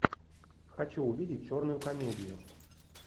хочу увидеть черную комедию